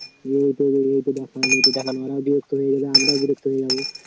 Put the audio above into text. ওরাও বিরক্ত হয়ে যাবে আমরাও বিরক্ত হয়ে যাব